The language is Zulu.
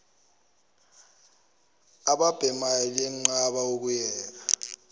ababhemayo liyenqaba ukuyeka